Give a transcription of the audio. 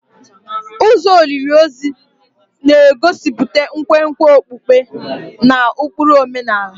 Ụzọ olili ozu na-egosipụta nkwenkwe okpukpe na ụkpụrụ omenala.